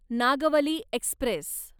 Nagavali Express